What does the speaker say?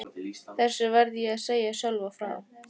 Þessu varð ég að segja Sölva frá.